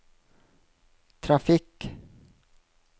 trafikk